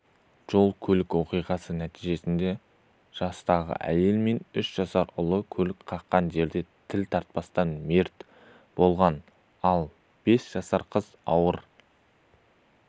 жол-көлік оқиғасы нәтижесінде жастағы әйел мен үш жасар ұлы көлік қаққан жерде тіл тартпастан мерт болған ал бес жасар қыз ауыр